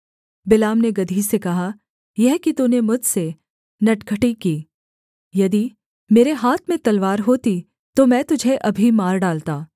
बिलाम ने गदही से कहा यह कि तूने मुझसे नटखटी की यदि मेरे हाथ में तलवार होती तो मैं तुझे अभी मार डालता